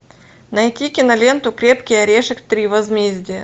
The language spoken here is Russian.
найти киноленту крепкий орешек три возмездие